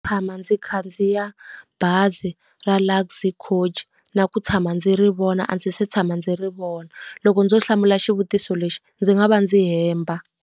Tshama ndzi khandziya bazi ra Luxy Coach, na ku tshama ndzi ri vona a ndzi se tshama ndzi ri vona. Loko ndzo hlamula xivutiso lexi ndzi nga va ndzi hemba.